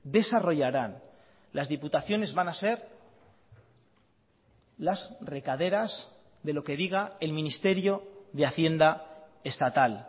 desarrollarán las diputaciones van a ser las recaderas de lo que diga el ministerio de hacienda estatal